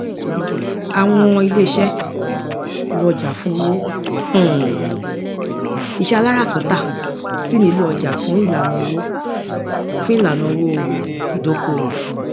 àwọn iléiṣẹ lo ọjà fún owó um iṣẹ aláràtúntà sì nílò ọjà fún ìlànaa owó fún ìlànaa owó ìdókówò